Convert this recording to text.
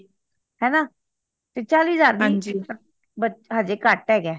ਹੈਨਾ ਤੇ ਚਾਲੀਹ ਹਜ਼ਾਰ ਅਜੇ ਕੱਟ ਹੈਗਾ